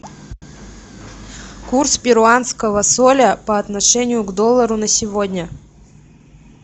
курс перуанского соля по отношению к доллару на сегодня